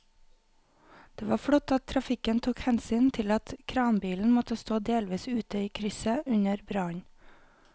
Det var flott at trafikken tok hensyn til at kranbilen måtte stå delvis ute i krysset under brannen.